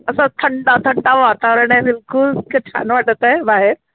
असा थंड थंड वातावरण अय बिलकुल, किती छान वाटतंय बाहेर